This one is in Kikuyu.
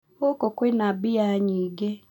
Gũkũ kwina mbĩya nyingĩ